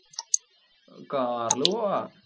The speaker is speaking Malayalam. car ൽ പോവാം.